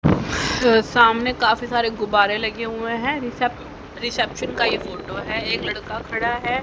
सामने काफी सारे गुब्बारे लगे हुए हैं रिशेप रिसेप्शन का ये फोटो है एक लड़का है।